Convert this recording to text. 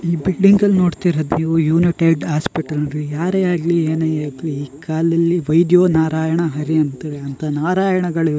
ಈ ಬಿಲ್ಡಿಂಗ್ ಅಲ್ ನೋಡ್ತಿರದ್ ನೀವು ಯುನಿಟೆಡ್ ಆಸ್ಪಿಟಲ್ ಇದು ಯಾರೇ ಆಗ್ಲಿ ಏನೇ ಏಗ್ಲಿ ಈ ಕಾಲಲ್ಲಿ ವೈದ್ಯೋ ನಾರಾಯಣಾ ಹರಿ ಅಂತೆಳಿ ಅಂತ ನಾರಾಯಣ ಗಳ್--